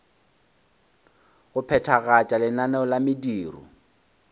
go phethagatša lenaneo la mediro